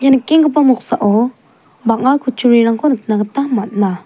ia nikenggipa moksao bang·a kutturirangko nikna gita man·a.